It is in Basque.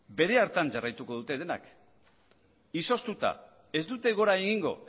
bere hartan jarraituko dute denak izoztuta ez dute gora egingo